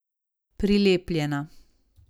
Prilepljena.